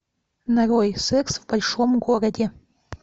нарой секс в большом городе